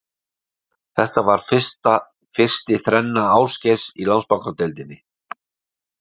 Þetta var fyrsti þrenna Ásgeirs í Landsbankadeildinni.